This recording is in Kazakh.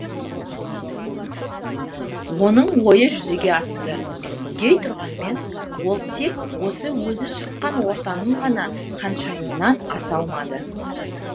оның ойы жүзеге асты дейтұрғанмен ол тек осы өзі шыққан ортаның ғана ханшайымынан аса алмады